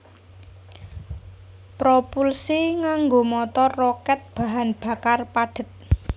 Propulsi nganggo motor rokèt bahan bakar padhet